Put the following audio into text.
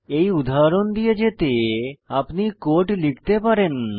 এই উদাহরণ দিয়ে যেতে আপনি কোড লিখতে পারেন